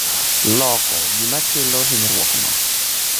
loko gimakelo hinyruok no